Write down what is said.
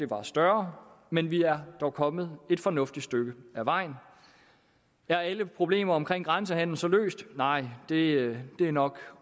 var større men vi er dog kommet et fornuftigt stykke ad vejen er alle problemer omkring grænsehandelen så løst nej det er nok